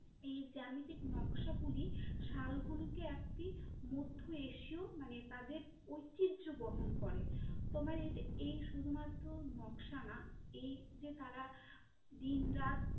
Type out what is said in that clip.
এই জ্যামিতিক নকশাগুলো শাল গুলিকে একটি মধ্য এশিও মানে তাদের ঐতিহ্য বহন করে, তোমার এই শুধুমাত্র নকশা না এই যে তারা দিনরাত